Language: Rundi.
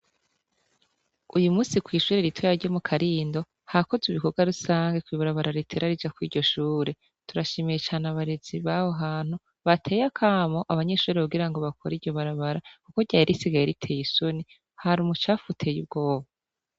Uyumusi kw'ishure ritoya ryo mukarindo hakozw'ibikorwa rusangi kw'ibarabara ritera rija kur 'iryoshure turashimiye cane abarezi baho hantu bateye akamo abanyeshure kugirango bakore iryo barabara, kuko ryari risigaye ritey'isoni, har'ubucafu butey'ubwoba.